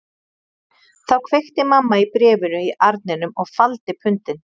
Þá kveikti mamma í bréfinu í arninum og faldi pundin